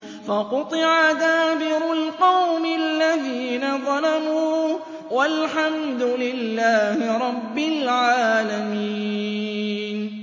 فَقُطِعَ دَابِرُ الْقَوْمِ الَّذِينَ ظَلَمُوا ۚ وَالْحَمْدُ لِلَّهِ رَبِّ الْعَالَمِينَ